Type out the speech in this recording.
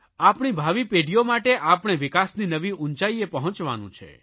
આપણી ભાવિ પેઢીઓ માટે આપણે વિકાસની નવી ઊંચાઇએ પહોંચવાનું છે